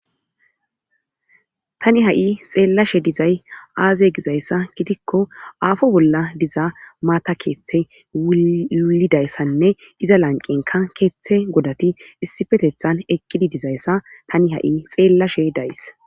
tani ha7i xeellashe dizay aaze gizayssa gidikko aafo bolla diza maata keeththe wulidayssanne iza lanqenka keeththe godati issipetethan eqqidi dizayssa tani ha7i xeellashe days